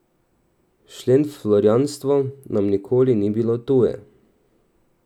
Šentflorjanstvo nam nikoli ni bilo tuje.